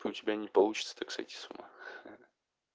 у тебя не получится так сойти с ума